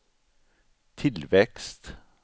tillväxt